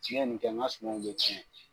Tiɲɛ nin kɛ n ka sumanw bɛ tiɲɛ.